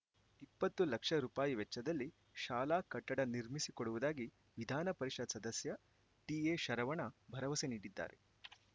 ಇಪ್ಪತ್ತು ಲಕ್ಷ ರೂಪಾಯಿ ವೆಚ್ಚದಲ್ಲಿ ಶಾಲಾ ಕಟ್ಟಡ ನಿರ್ಮಿಸಿಕೊಡುವುದಾಗಿ ವಿಧಾನ ಪರಿಷತ್‌ ಸದಸ್ಯ ಟಿಎ ಶರವಣ ಭರವಸೆ ನೀಡಿದ್ದಾರೆ